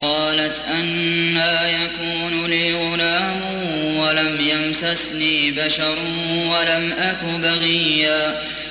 قَالَتْ أَنَّىٰ يَكُونُ لِي غُلَامٌ وَلَمْ يَمْسَسْنِي بَشَرٌ وَلَمْ أَكُ بَغِيًّا